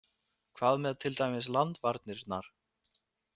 Hvað með til dæmis landvarnirnar?